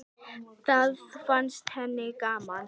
Það fannst henni gaman.